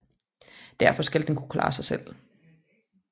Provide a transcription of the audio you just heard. Derefter skal den kunne klare sig selv